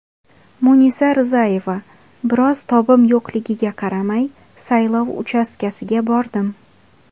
Munisa Rizayeva: Biroz tobim yo‘qligiga qaramay, saylov uchastkasiga bordim.